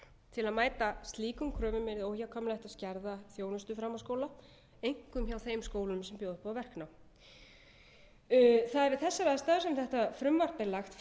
til að mæta slíkum kröfum yrði óhjákvæmilegt að skerða þjónustu framhaldsskóla einkum hjá þeim skólum sem bjóða upp á verknám það er við þessar aðstæður sem þetta frumvarp er lagt